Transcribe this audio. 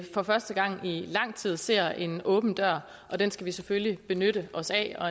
for første gang i lang tid ser en åben dør og den skal vi selvfølgelig benytte os af og